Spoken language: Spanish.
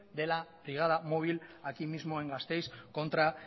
de la brigada móvil aquí mismo en gasteiz contra